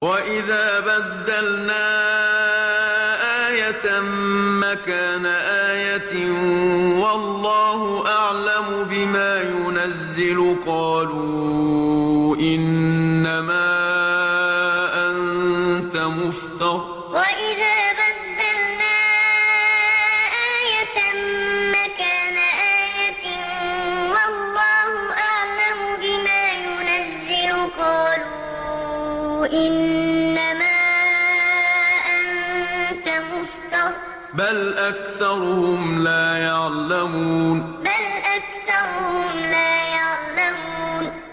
وَإِذَا بَدَّلْنَا آيَةً مَّكَانَ آيَةٍ ۙ وَاللَّهُ أَعْلَمُ بِمَا يُنَزِّلُ قَالُوا إِنَّمَا أَنتَ مُفْتَرٍ ۚ بَلْ أَكْثَرُهُمْ لَا يَعْلَمُونَ وَإِذَا بَدَّلْنَا آيَةً مَّكَانَ آيَةٍ ۙ وَاللَّهُ أَعْلَمُ بِمَا يُنَزِّلُ قَالُوا إِنَّمَا أَنتَ مُفْتَرٍ ۚ بَلْ أَكْثَرُهُمْ لَا يَعْلَمُونَ